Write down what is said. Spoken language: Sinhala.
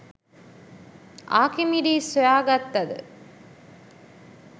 ආකිමිඩිස් සොයාගත්තද